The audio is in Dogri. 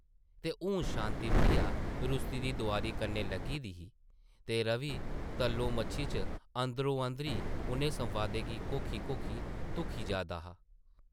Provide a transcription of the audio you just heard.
ते हून शांति प्रिया रुस्सी दी दोआरी कन्नै लग्गी दी ही ते रवि तल्लो-मच्छी च अंदरो-अंदरी उʼनें संवादें गी घोखी-घोखी धुखी जा दा हा ।